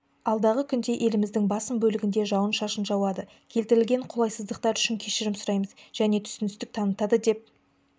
алдағы күнде еліміздің басым бөлігінде жауын-шашын жауады келтірілген қолайсыздықтар үшін кешірім сұраймыз және түсіністік танытады деп